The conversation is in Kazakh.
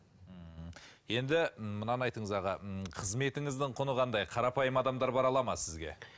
ммм енді мынаны айтыңыз аға м қызметіңіздің құны қандай қарапайым адамдар бара алады ма сізге